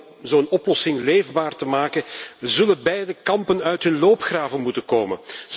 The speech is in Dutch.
En ja, om zo'n oplossing leefbaar te maken, zullen beide kampen hun loopgraven moeten verlaten.